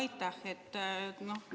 Aitäh!